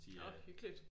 Nå hyggeligt!